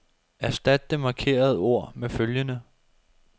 Erstat det markerede ord med følgende.